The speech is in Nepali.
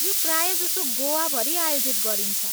यो प्रायजसो गोवाभरि आयोजित गरिन्छ।